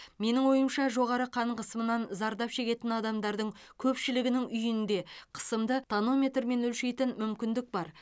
менің ойымша жоғары қан қысымынан зардап шегетін адамдардың көпшілігінің үйінде қысымды тонометрмен өлшейтін мүмкіндік бар